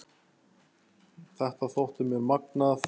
Þetta þótti mér magnað.